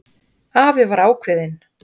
Afi var ákveðinn.